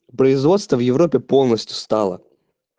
производства в европе полностью стала